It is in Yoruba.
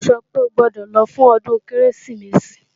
Ó sọ pé o gbọ́dọ̀ lọ fún ọdún Kérésìmesì!